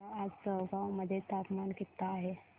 सांगा आज चौगाव मध्ये तापमान किता आहे